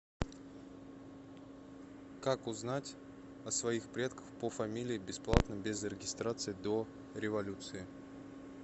как узнать о своих предках по фамилии бесплатно без регистрации до революции